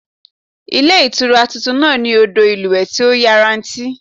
Ilé Ìtura tuntun náà ní odò ìlúwèé tí ó yanrantí